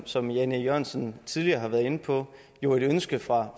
som jan e jørgensen tidligere har været inde på på et ønske fra